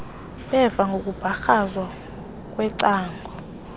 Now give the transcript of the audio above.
beva ngokumbakrazwa kwecango